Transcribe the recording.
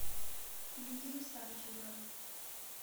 лидию савченко